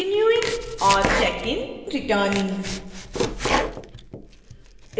renewing और check in returning